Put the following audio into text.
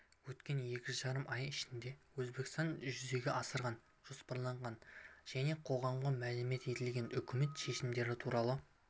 өткен екі жарым ай ішінде өзбекстанда жүзеге асырылған жоспарланған және қоғамға мәлім етілген үкімет шешімдері туралы